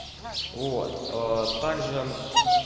вот также